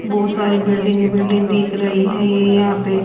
बहुत सारी building building ही दिख रही है ये यहां पे।